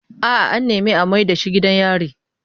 A'a, an nemi a mayar da shi gidan yari.